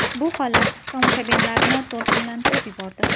Bu holat tomoshabinlarni to‘lqinlantirib yubordi.